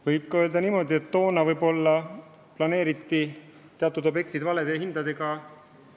Võib ka öelda niimoodi, et toona planeeriti teatud objektid eelarves valede hindadega.